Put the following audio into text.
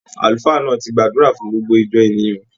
Àlùfáà náà ti gbàdúrà fún gbogbo ìjọ ènìyàn.